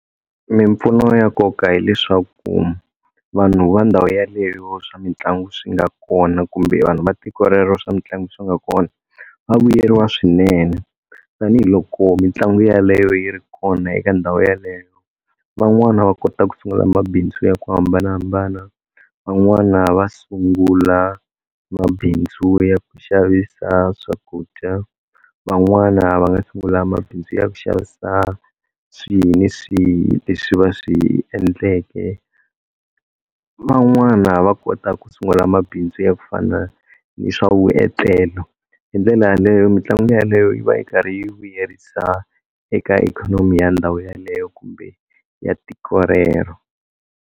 Mimpfuno ya nkoka hileswaku vanhu va ndhawu yaleyo swa mitlangu swi nga kona kumbe vanhu va tiko rero swa mitlangu swi nga kona va vuyeriwa swinene tanihiloko mitlangu yaleyo yi ri kona eka ndhawu yaleyo van'wana va kota ku sungula mabindzu ya ku hambanahambana van'wana va sungula mabindzu ya ku xavisa swakudya van'wana va nga sungula mabindzu ya ku xavisa swihi ni swihi leswi va swi endleke van'wana va kota ku sungula mabindzu ya ku fana ni swa vuetlelo hi ndlela yaleyo mitlangu yaleyo yi va yi karhi yi vuyerisa eka ikhonomi ya ndhawu yaleyo kumbe ya tiko rero.